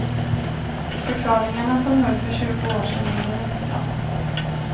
Förklaringarna som höll för tjugo år sedan håller inte i dag.